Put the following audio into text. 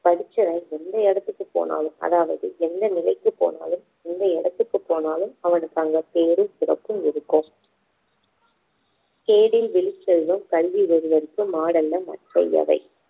படிச்சவன் எந்த இடத்துக்கு போனாலும் அதாவது எந்த நிலைக்குப் போனாலும் எந்த இடத்துக்கு போனாலும் அவனுக்கு அங்க பேரும் சிறப்பும் இருக்கும் கேடில் விழுச்செல்வம் கல்வி ஒருவற்கு மாடல்ல மற்றை எவை